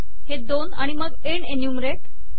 हे दोन आणि मग एन्ड एन्युमरेट